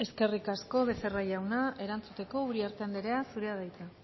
eskerrik asko becerra jauna erantzuteko uriarte anderea zurea da hitza